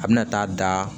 A bɛna taa da